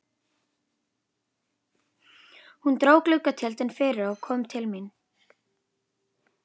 Hún dró gluggatjöldin fyrir og kom til mín.